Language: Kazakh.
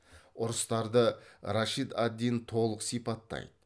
ұрыстарды рашид ад дин толық сипаттайды